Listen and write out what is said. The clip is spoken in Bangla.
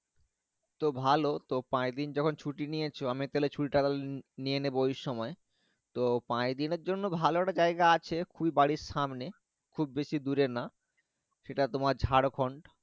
তো ভালো পাঁচ দিন জং ছুটি নিয়েছো আমি তাহলে ছুটি তা নিয়ে নিবো ওই সময় ও পাঁচ দিনের জন্য ভালো একটা জায়গা আছে খুবই বাড়ি সামনে খুব বেশি দূরে না। সেটা তোমার ঝাড়খন্ড।